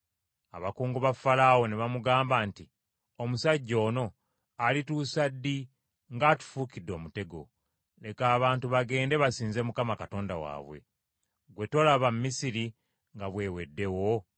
Abakungu ba Falaawo ne bamugamba nti, “Omusajja ono alituusa ddi ng’atufuukidde omutego? Leka abantu bagende basinze Mukama Katonda waabwe. Ggwe tolaba Misiri nga bw’eweddewo?”